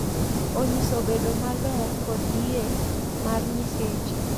Onyiso bedo maler kod yie mar Nyiseche.